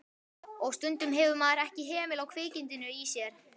Og stundum hefur maður ekki hemil á kvikindinu í sér.